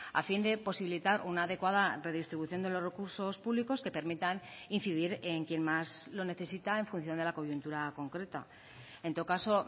a fin de posibilitar una adecuada redistribución de los recursos públicos que permitan incidir en quien más lo necesita en función de la coyuntura concreta en todo caso